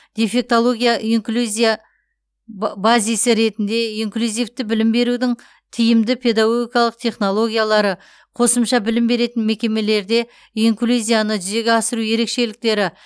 дефектология инклюзия ба базисі ретінде инклюзивті білім берудің тиімді педагогикалық технологиялары қосымша білім беретін мекемелерде инклюзияны жүзеге асыру ерекшеліктері